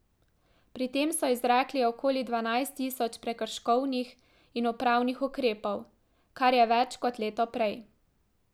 Pri tem so izrekli okoli dvanajst tisoč prekrškovnih in upravnih ukrepov, kar je več kot leto prej.